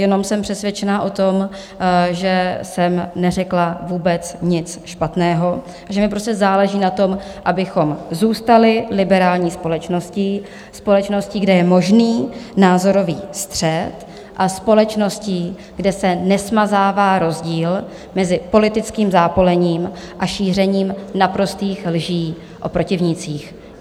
Jenom jsem přesvědčená o tom, že jsem neřekla vůbec nic špatného, že mi prostě záleží na tom, abychom zůstali liberální společností, společností, kde je možný názorový střet, a společností, kde se nesmazává rozdíl mezi politickým zápolením a šířením naprostých lží o protivnících.